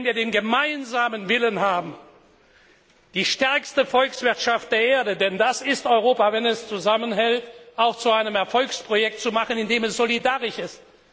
Wenn wir den gemeinsamen Willen haben, die stärkste Volkswirtschaft der Erde denn das ist Europa, wenn es zusammenhält auch zu einem Erfolgsprojekt zu machen, indem es solidarisch ist.